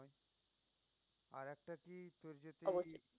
অবশ্যই।